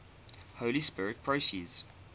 holy spirit proceeds